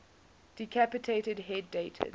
decapitated head dated